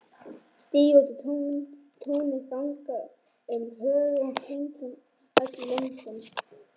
Stíga út á túnið, ganga um höfin, kringum öll löndin.